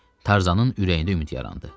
Tarzanın ürəyində ümid yarandı.